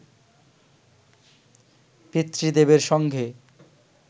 পিতৃদেবের সঙ্গে